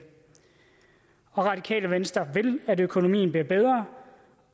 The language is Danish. og radikale venstre vil at økonomien bliver bedre